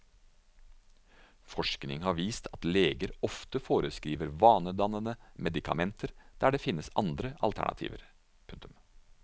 Forskning har vist at leger ofte foreskriver vanedannende medikamenter der det finnes andre alternativer. punktum